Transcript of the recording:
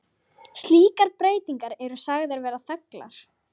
Vona ég að menn taki þessa hugmynd til rækilegrar yfirvegunar.